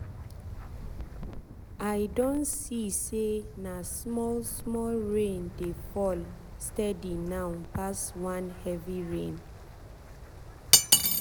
i don see say na small small rain dey fall steady now pass one heavy rain.